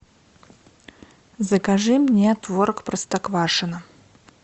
закажи мне творог простоквашино